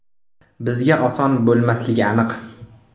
Bizga oson bo‘lmasligi aniq.